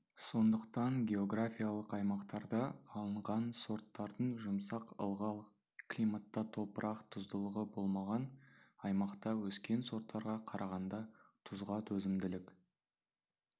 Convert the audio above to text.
сондықтан географиялық аймақтарда алынған сорттардың жұмсақ ылғал климатта топырақ тұздылығы болмаған аймақта өскен сорттарға қарағанда тұзға төзімділік